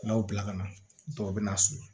N'aw bila ka na dɔw bɛ na so